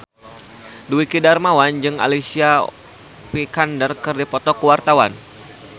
Dwiki Darmawan jeung Alicia Vikander keur dipoto ku wartawan